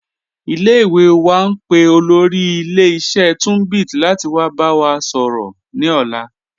Ile-iwe wa n pe olóri ilẹ̀-iṣẹ̀ Tunbit lati wa ba wa sọrọ ni ọ̀la.